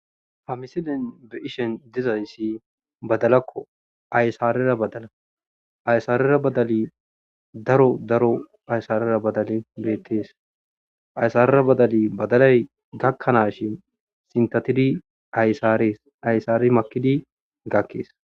hamisilen be ishen dizayssi badalakko aysarera badala aysarera badali daro daro aysarera badale bieettees aysarera badali badalay gakkanaashin sintatidi aysaarees aysaari makidi gakkees